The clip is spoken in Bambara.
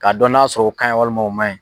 Ka dɔn n'a sɔrɔ o ka ɲin walima o ma ɲin.